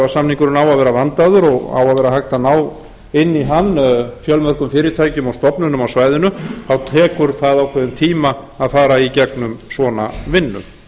að vera vandaður og á að vera hægt ná inn í hann fjölmörgum fyrirtækjum og stofnunum á svæðinu þá tekur það ákveðinn tíma að fara inn í svona vinnu